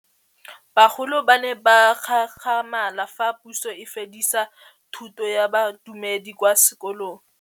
Bagolo ba ne ba gakgamala fa Pusô e fedisa thutô ya Bodumedi kwa dikolong.